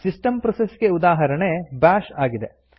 system process ಗೆ ಉದಾಹರಣೆ bash ಆಗಿದೆ